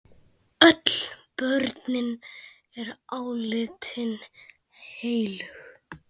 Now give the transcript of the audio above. Öll borgin er álitin heilög.